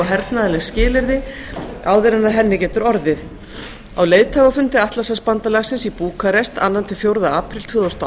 hernaðarleg skilyrði áður en af henni getur orðið á leiðtogafundi atlantshafsbandalagsins í búkarest annars til fjórða apríl tvö þúsund og